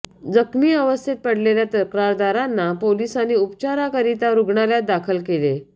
जखमी अवस्थेत पडलेल्या तक्रारदारांना पोलिसांनी उपचाराकरिता रुग्णालयात दाखल केले